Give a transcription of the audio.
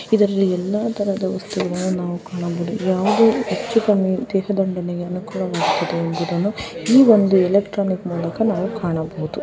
ಇದರಲ್ಲಿ ಎಲ್ಲಾತರದ ಎಲೆಕ್ಟ್ರಾನಿಕ್ ವಸ್ತುಗಳನ್ನು ನಾವು ಕಾಣಬಹುದು ಇಲ್ಲಿ ಯಾವುದೇ ತರದ ಎಲೆಕ್ಟ್ರಾನಿಕ್ ಮುಖಾಂತರ ನಾವು ಕಾಣಬಹುದು.